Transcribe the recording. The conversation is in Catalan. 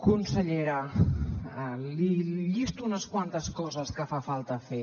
consellera li llisto unes quantes coses que fa falta fer